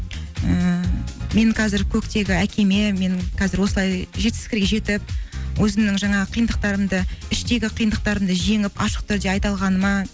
ііі мен қазір көктегі әкеме менің қазір осылай жетістіктерге жетіп өзімнің жаңағы қиындықтарымды іштегі қиындықтарымды жеңіп ашық түрде айта алғаныма